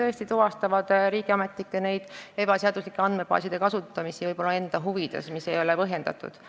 Nemad tuvastavad seda, kui riigiametnikud on andmebaase ebaseaduslikult enda huvides kasutanud, mis ei ole põhjendatud.